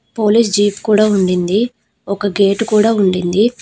Police jeep కూడా ఉండింది. ఒక గేటు కూడా ఉండింది.